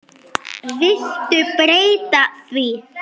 Viltu breyta því